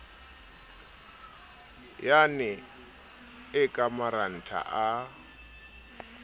yane e ka marantha a